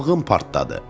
Qabığım partladı.